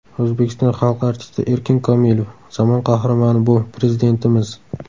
O‘zbekiston xalq artisti Erkin Komilov: zamon qahramoni bu Prezidentimiz.